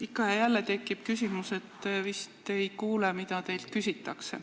Ikka ja jälle tekib tunne, et te vist ei kuule, mida teilt küsitakse.